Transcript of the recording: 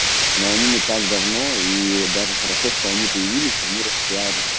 но они не так давно и даже хорошо что они появились они распиарили